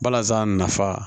Balazan nafa